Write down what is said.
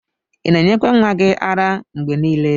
Ina enyekwa nwa gi ara mgbe nile?